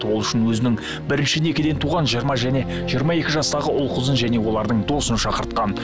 ол үшін өзінің бірінші некеден туған жиырма және жиырма екі жастағы ұл қызын және олардың досын шақыртқан